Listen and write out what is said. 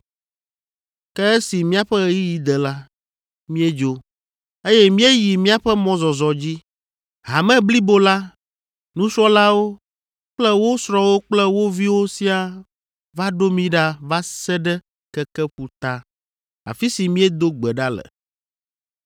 Ke esi míaƒe ɣeyiɣi de la, míedzo, eye míeyi míaƒe mɔzɔzɔ dzi. Hame blibo la, nusrɔ̃lawo kple wo srɔ̃wo kple wo viwo siaa va ɖo mí ɖa va se ɖe keke ƒuta, afi si míedo gbe ɖa le.